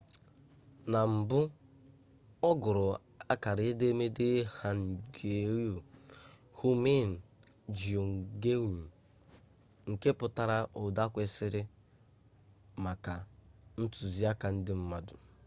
na mbụ ọ gụrụ akara edemede hangeul hunmin jeongeum nke pụtara ụda kwesịrị maka ntuziaka ndị mmadụ